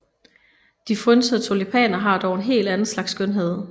De frynsede tulipaner har dog en helt anden slags skønhed